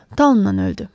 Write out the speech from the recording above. Taunnan öldü.